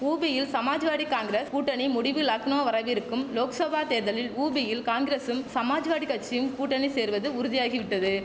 உபியில் சமாஜ்வாடி காங்கிரஸ் கூட்டணி முடிவு லக்னோ வரவிருக்கும் லோக்சபா தேர்தலில் உபியில் காங்கிரசும் சமாஜ்வாடியும் கூட்டணி சேர்வது உறுதியாகிவிட்டது